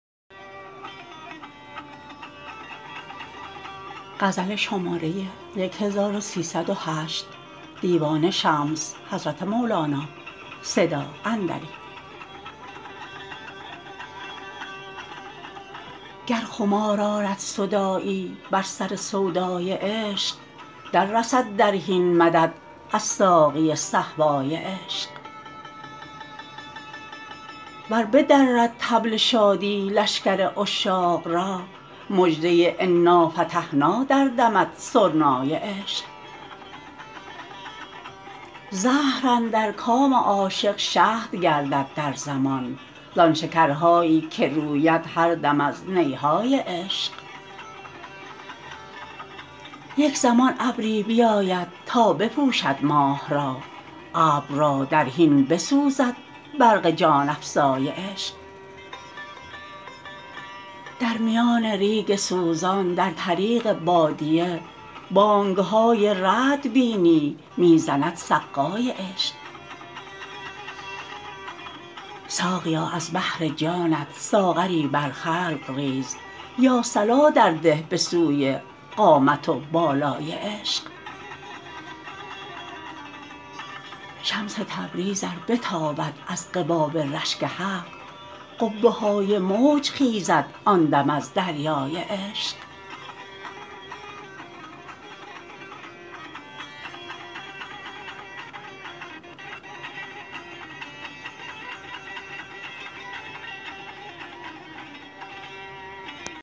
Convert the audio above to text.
گر خمار آرد صداعی بر سر سودای عشق دررسد در حین مدد از ساقی صهبای عشق ور بدرد طبل شادی لشکر عشاق را مژده انافتحنا دردمد سرنای عشق زهر اندر کام عاشق شهد گردد در زمان زان شکرهایی که روید هر دم از نی های عشق یک زمان ابری بیاید تا بپوشد ماه را ابر را در حین بسوزد برق جان افزای عشق در میان ریگ سوزان در طریق بادیه بانگ های رعد بینی می زند سقای عشق ساقیا از بهر جانت ساغری بر خلق ریز یا صلا درده به سوی قامت و بالای عشق شمس تبریز ار بتاند از قباب رشک حق قبه های موج خیزد آن دم از دریای عشق